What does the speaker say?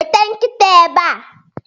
weta nkita ebea